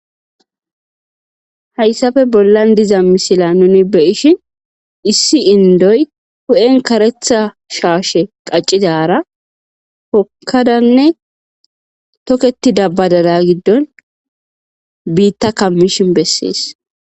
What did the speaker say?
Hayssafe bollan diza misila nuni beyishin issi indoy hu,en karetha shaashe qaccizara hokkadanne toketi dabbadala giddon biitta kammishin bessees.